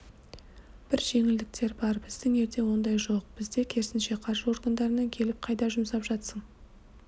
бір жеңілдіктер бар біздің елде ондай жоқ бізде керісінше қаржы органдарынан келіп қайда жұмсап жатсың